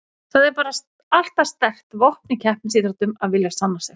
Það er bara alltaf sterkt vopn í keppnisíþróttum að vilja sanna sig.